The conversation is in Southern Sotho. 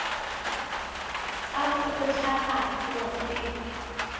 tsa ho kgonahatsa puo tse